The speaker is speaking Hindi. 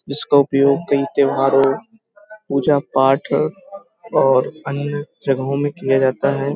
जिसका उपयोग कई त्योहारों पूजा-पाठ और अन्य जगहों में किया जाता है।